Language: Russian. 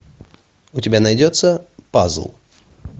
у тебя найдется пазл